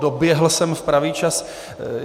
Doběhl jsem v pravý čas.